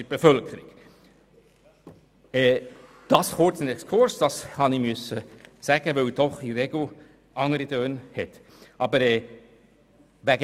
Das kurz ein Exkurs, den ich machen musste, weil doch in der Regel andere Töne herrschen.